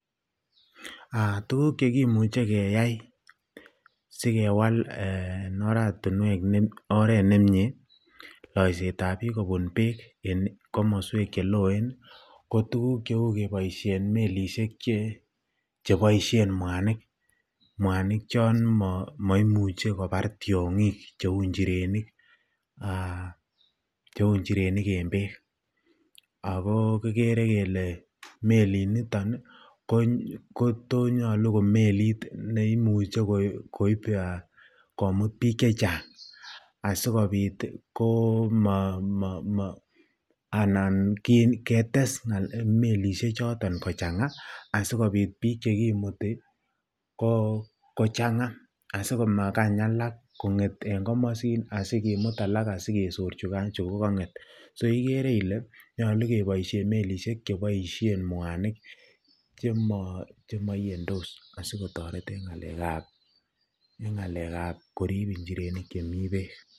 aah tuguk chegimuche keyaai sigewaal eeh oratinweek nemyee oreet nemnyee loiseet ab biik beek en komosweek cheloeen ko tuguk cheuu keboisheen melisheek che, cheboisheen mwaniik, mwaaniik chon moimuche kobaar tyongiik cheuu njireniik en beek, agoo kigere kele meliit niton kotonyolu ko meliit neimuche komuut biik chechang asigobiit komoo anan ketess melisheek choton kochangaa asigobiit biik choton kimutii kochanga asigobiit komagaany alak kongeet en komosiin asigimuut alak asigesoor chugogongeet, so igere ile nyolu keboishen melisheek cheboishen mwaanik chemoyendoos asigotoreet en ngaleek ab koriib injireniik chemii beek.